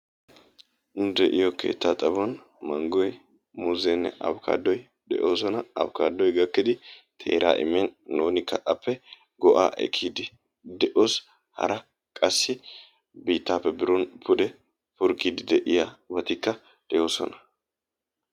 nu de'iyo keetaa xaphon, mangoy muuzeene manggoy afkaatoy de'oosona, afkaatoy gakkidi teeraa immin nuunikka appe go'aa ekiidi de'oos, hara qassi biitaappe purkiidi de'iyabatikka de'oosona.